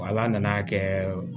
Ala nana kɛ